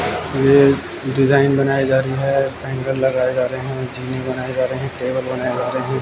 ये डिजाइन बनायी जा रही है हैंगर लगाए जा रहे है जीने बनाए जा रहे टेबल बनाये जा रहे--